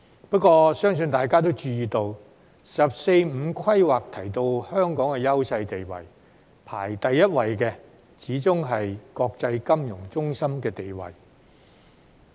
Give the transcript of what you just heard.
不過，相信大家也注意到，"十四五"規劃提到香港的優勢地位，排第一位的始終是國際金融中心的地位。